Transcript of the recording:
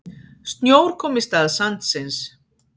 Snjór kom í stað sandsins.